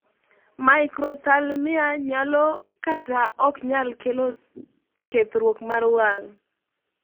microphthalmia nyalo kata oknyal kelo kethruok mar wang'